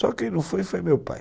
Só quem não foi, foi meu pai.